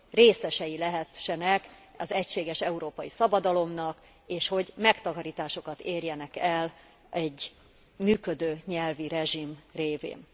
részesei lehessenek az egységes európai szabadalomnak és hogy megtakarításokat érjenek el egy működő nyelvi rezsim révén.